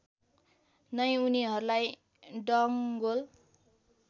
नै उनीहरूलाई डङ्गोल